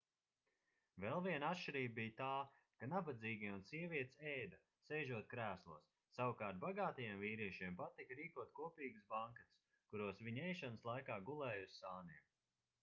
vēl viena atšķirība bija tā ka nabadzīgie un sievietes ēda sēžot krēslos savukārt bagātajiem vīriešiem patika rīkot kopīgus banketus kuros viņi ēšanas laikā gulēja uz sāniem